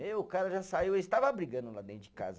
Meu, o cara já saiu, eles estava brigando lá dentro de casa.